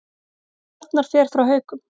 Arnar fer frá Haukum